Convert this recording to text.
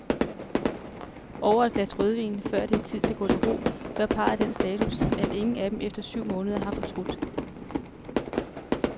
Over et glas rødvin, før det er tid at gå til ro, gør parret den status, at ingen af dem efter syv måneder har fortrudt.